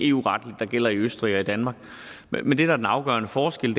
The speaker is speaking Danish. eu retligt gælder i østrig og i danmark men men det der er den afgørende forskel